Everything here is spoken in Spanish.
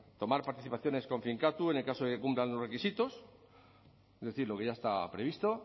tomar participaciones con finkatuz en el caso de que cumplan los requisitos es decir lo que ya está previsto